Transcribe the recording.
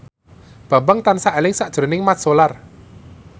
Bambang tansah eling sakjroning Mat Solar